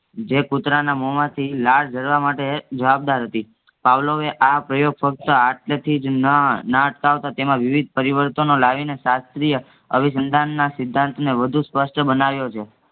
જે કુતરારના મોહમાંથી લાળ ઝરવામાટે જબાબદાર હતી. પાવલોએ આ પ્રયોગ ફક્ત આતળેથીજ ન્ ના તેમાં વિવિધ પરિવર્તનો લાવીને શાસ્ત્રીય અવિસંધાનના સિદ્ધાંતને વધુ સ્પષ્ટ બનાવ્યો છે